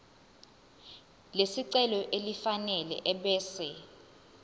lesicelo elifanele ebese